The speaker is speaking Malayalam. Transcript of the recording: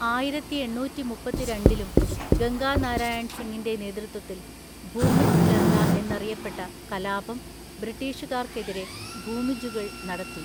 ആയിരത്തിഎണ്ണൂറ്റിമുപ്പത്തിരണ്ടിലും ഗംഗാനാരായൺസിങ്ങിൻ്റെ നേതൃത്വത്തിൽ, ഭൂമിജ് ലഹള എന്നറിയപ്പെട്ട കലാപം ബ്രിട്ടീഷുകാർക്കെതിരെ ഭൂമിജുകൾ നടത്തി.